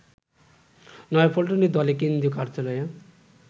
নয়াপল্টনে দলের কেন্দ্রীয় কার্যালয়ে